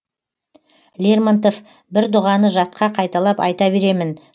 лермонтов бір дұғаны жатқа қайталап айта беремін